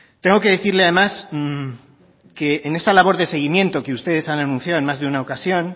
tengo que decirle además que en esa labor de seguimiento que ustedes han anunciado en más de una ocasión